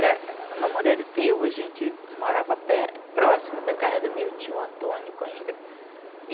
No Moreiro Teu, a gente morava próximo da casa do meu tio Antônio Coimbra.